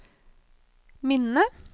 minne